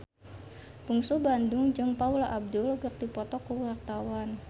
Bungsu Bandung jeung Paula Abdul keur dipoto ku wartawan